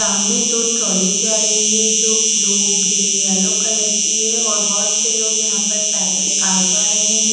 सामने दो ट्रॉली जा रही है जो ब्लू ग्रीन येलो कलर की है और बहुत से लोग यहां पर पैदल आ जा रहे हैं।